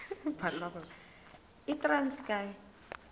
yitranskayi